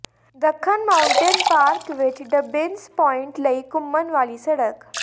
ਦੱਖਣ mountain park ਵਿੱਚ Dobbins point ਲਈ ਘੁੰਮਣ ਵਾਲੀ ਸੜਕ